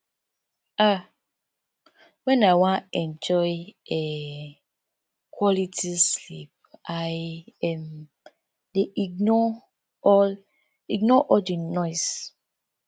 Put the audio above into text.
um wen i wan enjoy um quality sleep i um dey ignore all ignore all di noise